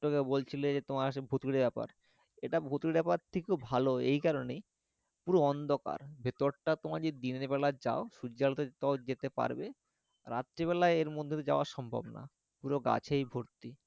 তোমরা বলছিলে যে তোমার সেই ভুতুড়ে ব্যপার এটা ভুতুড়ে ব্যাপার থেকেও ভালো এই কারনেই পুরো অন্ধকার ভেতরটা তোমরা যদি দিনেরবেলা যাও সূর্যের আলোতে তাও যেতে পারবে রাত্রিবেলায় এর মধ্যে দিয়ে তো যাওয়া সম্ভব না পুরো গাছেই ভরতি